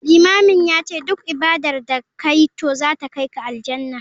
Limamin yace duk ibadar da kayi to zata kaika Aljannah.